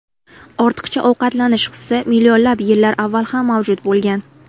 Ortiqcha ovqatlanish hisi millionlab yillar avval ham mavjud bo‘lgan.